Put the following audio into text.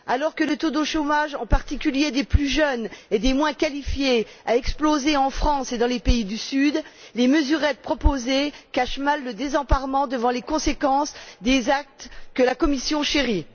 Alors que le taux de chômage, en particulier des plus jeunes et des moins qualifiés, a explosé en France et dans les pays du Sud, les mesurettes proposées cachent mal le désemparement devant les conséquences des actes que la Commission chérit.